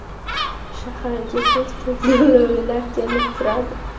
Shaharga tez-tez lo‘lilar kelib turadi.